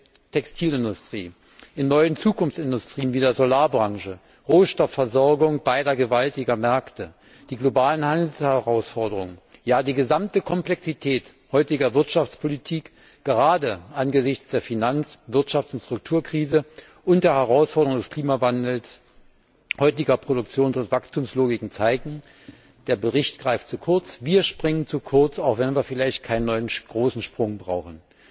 in der Textilindustrie, in neuen Zukunftsindustrien wie der Solarbranche, Rohstoffversorgung beider gewaltigen Märkte, die globalen Handelsherausforderungen ja, die gesamte Komplexität heutiger Wirtschaftspolitik gerade angesichts der Finanz Wirtschafts und Strukturkrise und der Herausforderungen des Klimawandels und heutiger Produktions und Wachstumslogiken zeigen Der Bericht greift zu kurz, wir springen zu kurz, auch wenn wir vielleicht keinen neuen großen Sprung brauchen.